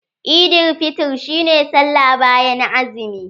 Eidil fitr shi ne sallah bayan azumi.